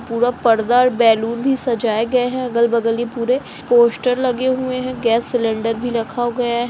पूरा पर्दा बैलून से सजाया गया है। अगल-बगल भी पूरे पोस्टर लगे हुए हैं। गैस सिलेंडर भी रखा गया है।